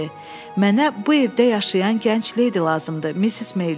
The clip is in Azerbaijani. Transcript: Mənə bu evdə yaşayan gənc leydi lazımdır, Missis Meyli.